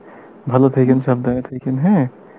ভালো থাকেন, সাবধানে থাকেন হ্যাঁ